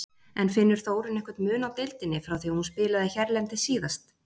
En finnur Þórunn einhvern mun á deildinni frá því að hún spilaði hérlendis síðast?